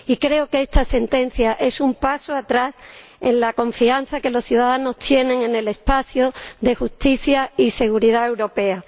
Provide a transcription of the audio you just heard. Y creo que esta sentencia es un paso atrás en la confianza que los ciudadanos tienen en el espacio de justicia y seguridad europea.